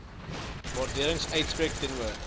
waardering uitspreek teenoor